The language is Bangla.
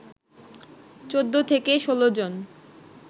১৪ থেকে ১৬ জন